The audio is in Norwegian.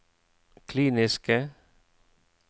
kliniske